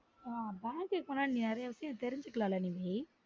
ஆஹ் bank க்கு போன நீ நறைய விசயம் நீ தெரிஞ்சுக்கலான் லா நிவீ